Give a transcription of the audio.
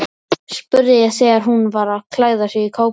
spurði ég þegar hún var að klæða sig í kápuna.